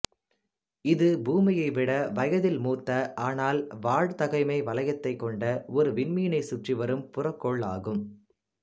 இது பூமியைவிட வயதில் மூத்த ஆனால் வாழ்தகமை வலயத்தைக் கொண்ட ஒரு விண்மீனைச் சுற்றிவரும் புறக்கோள் ஆகும்